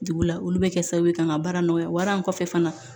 Dugu la olu bɛ kɛ sababu ye ka n ka baara nɔgɔya wara in kɔfɛ fana